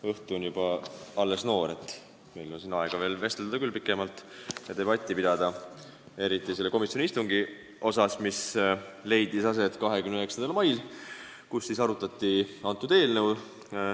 Õhtu on alles noor, meil on siin aega küll pikemalt vestelda ja debatti pidada, eriti selle komisjoni istungi üle, mis leidis aset 29. mail, kui seda eelnõu arutati.